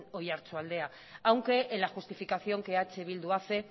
oiartzualdea aunque en la justificación que eh bildu hace